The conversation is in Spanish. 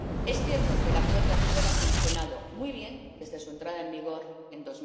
Es cierto que el Acuerdo actual ha funcionado muy bien desde su entrada en vigor en